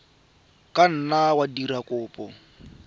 ka nna wa dira kopo